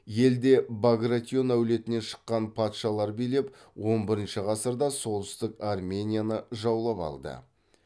елді багратион әулетінен шыққан патшалар билеп он бірінші ғасырда солтүстік арменияны жаулап алды